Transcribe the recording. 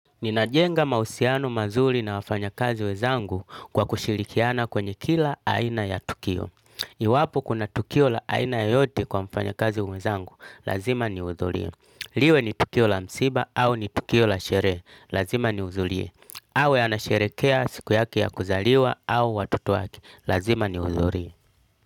Ninajenga mahusiano mazuri na wafanyakazi wezangu kwa kushirikiana kwenye kila aina ya tukio. Iwapo kuna tukio la aina yoyote kwa mfanyakazi mwezangu, lazima niudhurie. Liwe ni tukio la msiba au ni tukio la sheree, lazima niudhulie. Awe anasherekea siku yake ya kuzaliwa au watoto wake, lazima niudhurie.